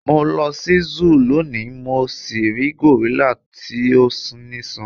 mo lọ si Zoo loni mo si ri gorilla ti o niṣan